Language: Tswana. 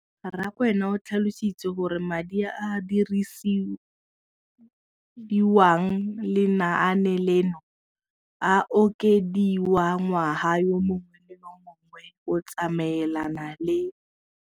Rakwena o tlhalositse gore madi a a dirisediwang lenaane leno a okediwa ngwaga yo mongwe le yo mongwe go tsamaelana le.